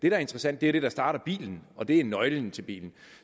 er interessant er det der starter bilen og det er nøglen til bilen